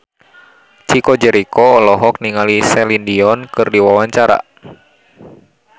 Chico Jericho olohok ningali Celine Dion keur diwawancara